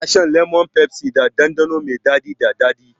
An san lemon pepsi da ɗanɗano mai daɗi da daɗi.